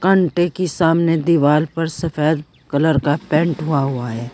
कंटे की सामने दीवार पर सफेद कलर का पेंट हुआ हुआ है।